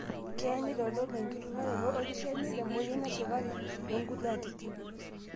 keya neitodolu enkiturraroto olkishamiet emoyian esukari toonkulie atitin.